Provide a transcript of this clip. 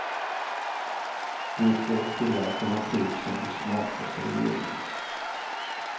De får tre alternativ som de smakar sig igenom.